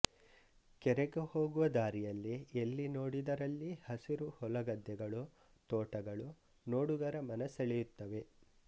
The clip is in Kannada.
ಕೆರೆಗೆ ಹೋಗುವ ದಾರಿಯಲ್ಲಿ ಎಲ್ಲಿ ನೋಡಿದರಲ್ಲಿ ಹಸಿರು ಹೊಲಗದ್ದೆಗಳು ತೋಟಗಳು ನೋಡುಗರ ಮನ ಸೆಳೆಯುತ್ತವೆ